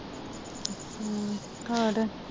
ਖਾਤ